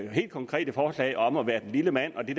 helt konkrete forslag om at være den lille mand og det